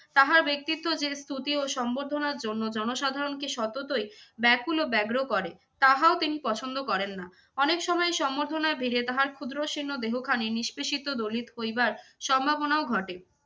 তাহার ব্যক্তিত্ত্ব যে স্তুতি ও সম্বর্ধনার জন্য জনসাধারণকে সততই ব্যাকুল ও ব্যগ্র করে, তাহাও তিনি পছন্দ করেন না। অনেক সময় সম্বর্ধনার ভিড়ে তাহার ক্ষুদ্র শীর্ণ দেহখানি নিষ্পেষিত দলিত হইবার সম্ভবনাও ঘটে।